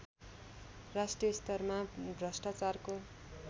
राष्ट्रिय स्तरमा भ्रष्टाचारको